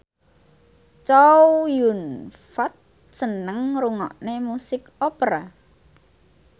Chow Yun Fat seneng ngrungokne musik opera